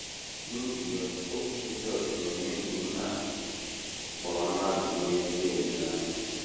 N’ihi ya okwu Jisọs na - eme ka ihe a kpọrọ mmadụ nwee ezi olileanya.